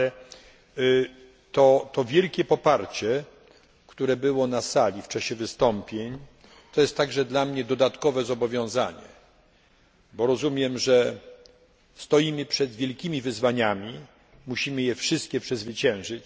Ale to wielkie poparcie, które było na sali w czasie wystąpień, jest także dla mnie dodatkowym zobowiązaniem, bo rozumiem, że stoimy przed wielkimi wyzwaniami, musimy je wszystkie przezwyciężyć.